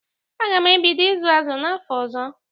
Aga m ebido ịzụ azụ n'afọ ọzọ.